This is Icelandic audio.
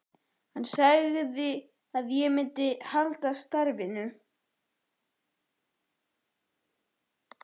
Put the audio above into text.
Hann sagði að ég myndi halda starfinu.